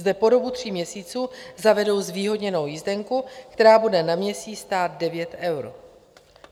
Zde po dobu tří měsíců zavedou zvýhodněnou jízdenku, která bude na měsíc stát 9 eur.